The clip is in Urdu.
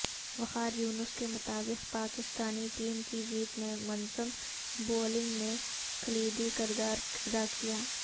وقاریونس کے مطابق پاکستانی ٹیم کی جیت میں منظم بولنگ نے کلیدی کردار ادا کیا